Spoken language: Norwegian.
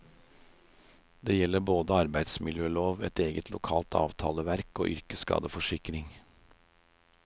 Det gjelder både arbeidsmiljølov, et eget lokalt avtaleverk og yrkeskadeforsikring.